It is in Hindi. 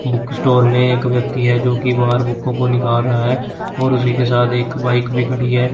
बुक स्टोर में एक व्यक्ति है जो की बाहर बुकों को निकल रहा है और उसी के साथ एक बाइक भी खड़ी है।